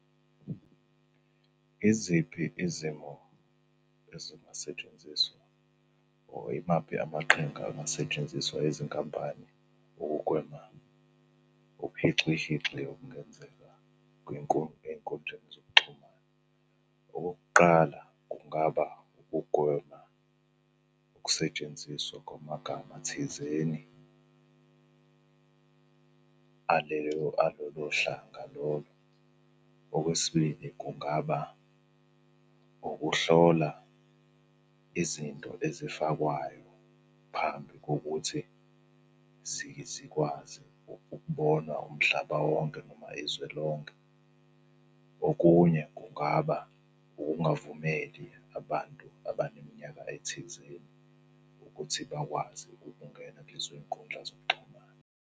Iziphi izimo ezingasetshenziswa or imaphi amaqhinga angasetshenziswa izinkampani ukugwema ubuhixihixi obungenzeka ey'nkundleni zokuxhumana? Okokuqala kungaba ukugwema ukusetshenziswa kwamagama thizeni aleyo, alolo hlanga lolo. Okwesibili, kungaba ukuhlola izinto ezifakwayo phambi kokuthi zikwazi ukubona umhlaba wonke noma izwe lonke. Okunye kungaba ukungavumeli abantu abaneminyaka ethizeni ukuthi bakwazi ukungena kulezo iy'nkundla zokuxhumana.